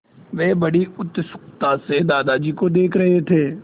वे बड़ी उत्सुकता से दादाजी को देख रहे थे